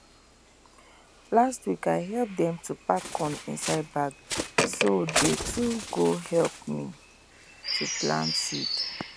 last week i help them to pack corn inside bag so they too go help me to plant seed